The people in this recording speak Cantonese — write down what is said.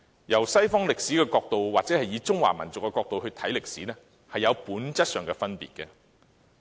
從西史的角度或從中華民族的角度來看歷史，有本質上的分別。